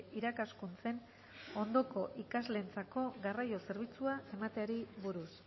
irakaskuntzen ondoko ikasleentzako garraio zerbitzua emateari buruz